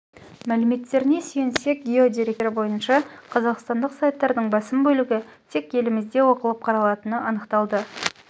мәліметтеріне сүйенсек гео деректер бойынша қазақстандық сайттардың басым бөлігі тек елімізде оқылып қаралатыны анықталды